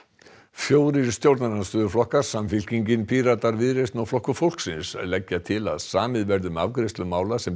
fjórir stjórnarandstöðuflokkar Samfylkingin Píratar Viðreisn og Flokkur fólksins leggja til að samið verði um afgreiðslu mála sem